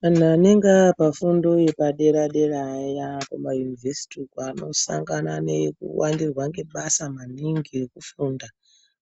Vantu anenge aapa fundo yepadera dera ayaa kumayunivhesiti uko anosangana nekuwandirwa ngebasa maningi rekufunda